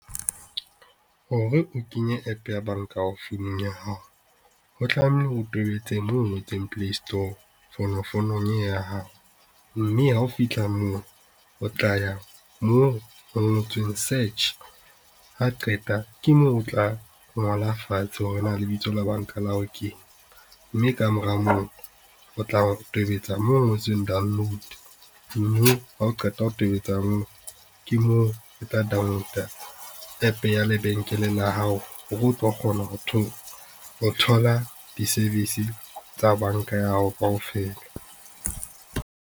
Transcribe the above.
Hore o kenye app ya banka ya hao founung ya hao, ho tlamehile o tobetse moo ho ngotsweng Play Store fonofonong ya hao, mme ha o fitlha moo o tla ya moo ho ngotsweng search ha o qeta ke moo o tla ngola fatshe hore na lebitso la banka ya hao keng, mme kamora moo o tla tobetsa moo ho ngotsweng download mme ha o qeta ho tobetsa moo, ke moo o tla download-a App ya banka ya hao hore o tlo kgona ho thola di-service tsa banka ya hao kaofela.